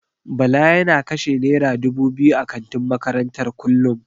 Bala yana kashe naira dubu biyu a kantin makarantar kullum.